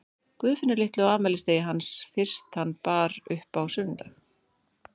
Guðfinnu litlu á afmælisdegi hans fyrst hann bar upp á sunnudag.